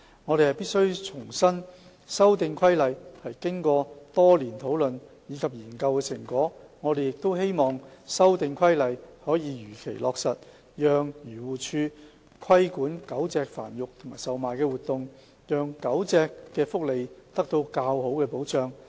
我們必須重申，修訂規例是經過多年討論及研究的成果，我們亦希望修訂規例可以如期落實，讓漁護署規管狗隻繁育和售賣活動，使狗隻的福利得到較好的保障。